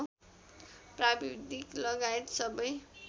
प्राविधिक लगायत सबै